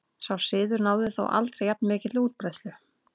Sá siður náði þó aldrei jafn mikilli útbreiðslu.